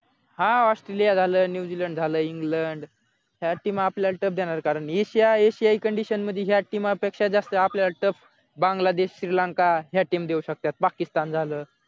हा australia झालं new zealand झालं england या team आपल्याला tough देणार कारण एशिया हे condition मध्ये या team पेक्षा जास्त आपल्याला tough बांगलादेश श्रीलंका या team देऊ शकतात पाकिस्तान झाल